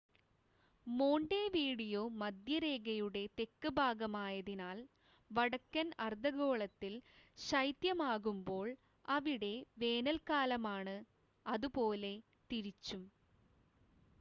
Montevideo മധ്യരേഖയുടെ തെക്ക് ഭാഗമായതിനാൽ വടക്കൻ അർധഗോളത്തിൽ ശൈത്യമാകുമ്പോൾ അവിടെ വേനൽക്കാലമാണ് അതുപോലെ തിരിച്ചും